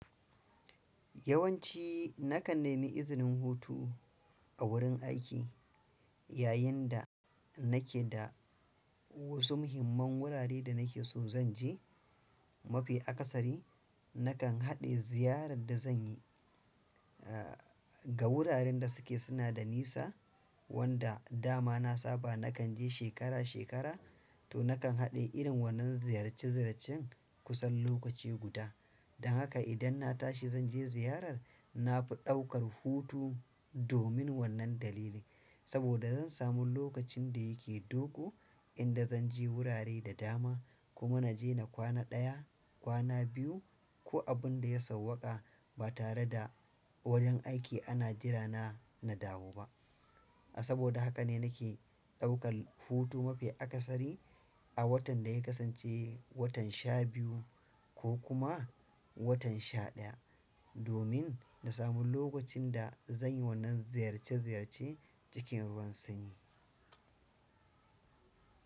Yawanci nakan nemi izinin hutu a wurin aiki yayinda nake da wasu muhimman wurare da nake so zan je. Mafi akasari nakan haɗe ziyarar da zanyi a ga wuraren da suke suna da nisa wanda dama na saba nakan je shekara-shekara to nakan haɗe irin wannan ziyarce-ziyarcen kusan lokaci guda. Don haka idan na tashi zan je ziyarar, na fi ɗaukar hutu domin wannan dalili saboda zan samu lokacin da yake dogo inda zanje wurare da dama kuma naje na kwana daya, kwana biyu ko abinda ya sawwaka ba tare da wurin aiki ana jira na na dawo ba. Saboda haka ne nake ɗaukar hutu mafi akasari a watan da ya kasance watan sha biyu kokuma watan shadaya domin na samu lokacin da zanyi wannan ziyarce ziyarcen cikin ruwan sanyi.